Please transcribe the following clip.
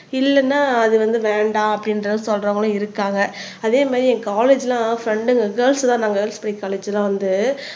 இல்லன்னா அது வந்து வேண்டாம் அப்படின்றத சொல்றவங்களும் இருக்காங்க அதே மாதிரி என் காலேஜ்லாம் ஃப்ரெண்டுங்க கேர்ள்ஸ் தான் காலேஜ்லாம் வந்து